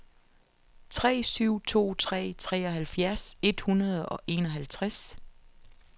tre syv to tre treoghalvfjerds et hundrede og enoghalvtreds